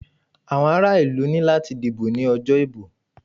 Àwọn ara ìlú ní láti dìbò ní ọjọ́ ìbò.